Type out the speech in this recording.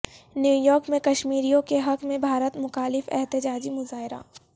New York میں کشمیریوں کے حق میں بھارت مخالف احتجاجی مظاہرہ